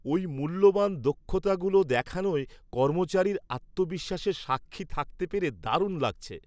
ওই মূল্যবান দক্ষতাগুলো দেখানোয় কর্মচারীর আত্মবিশ্বাসের সাক্ষী থাকতে পেরে দারুণ লাগছে।